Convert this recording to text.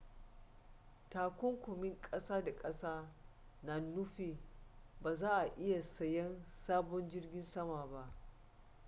takunkumin ƙasa da ƙasa na nufin ba za a iya sayan sabon jirgin sama ba